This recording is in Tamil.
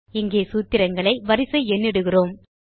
இங்கே சூத்திரங்களை வரிசை எண்ணிடுகிறோம்